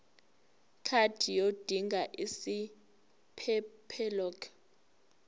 card yodinga isiphephelok